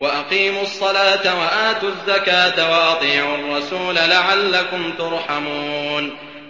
وَأَقِيمُوا الصَّلَاةَ وَآتُوا الزَّكَاةَ وَأَطِيعُوا الرَّسُولَ لَعَلَّكُمْ تُرْحَمُونَ